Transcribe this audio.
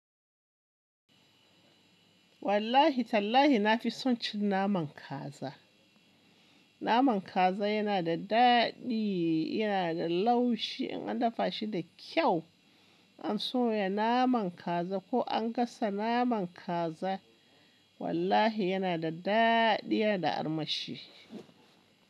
Wallahi tallahi na fi son cin naman kaza. Naman kaza yana da daɗi, yana da laushi in an dafa shi da kyau. An soya naman kaza ko an gasa naman kaza, wallahi yana da daɗi yana da armashi.